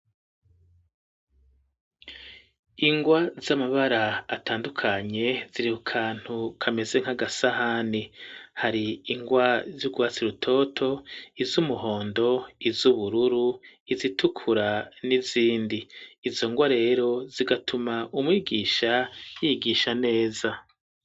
Ingwa z'amabara atandukanye ziri ku kantu kameze nk'agasahani hari ingwa z'urwatsi rutoto izumuhondo izubururu izitukura n'izindi izo ngwa rero zigatuma umwigisha yigisha neza